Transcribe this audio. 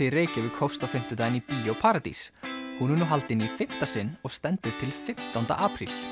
í Reykjavík hófst á fimmtudaginn í Bíó paradís hún er nú haldin í fimmta sinn og stendur til fimmtánda apríl